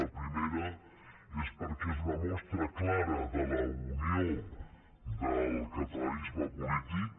la primera és perquè és una mostra clara de la unió del catalanisme polític